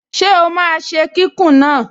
Ṣé ó máa ṣe kíkùn náà?